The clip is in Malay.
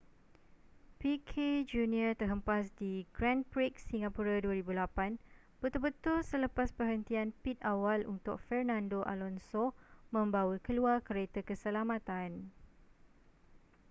piquet jr terhempas di grand prix singapura 2008 betul-betul selepas perhentian pit awal untuk fernando alonso membawa keluar kereta keselamatan